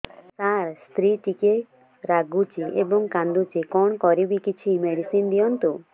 ସାର ସ୍ତ୍ରୀ ଟିକେ ରାଗୁଛି ଏବଂ କାନ୍ଦୁଛି କଣ କରିବି କିଛି ମେଡିସିନ ଦିଅନ୍ତୁ